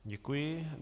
Děkuji.